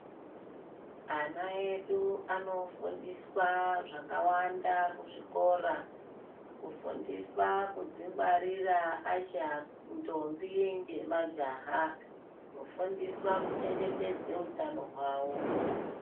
Ana edu anofundiswa zvakawanda kuzvikora. Kufundiswa kudzvingwarira achi ndombi ngemajaha, kufundiswa kuchengetedza hutano hwawo.